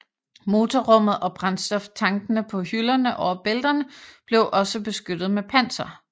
Motorrummet og brændstoftankene på hylderne over bælterne blev også beskyttet med panser